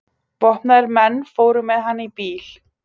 Vopnaðir menn fóru með hann í bíl.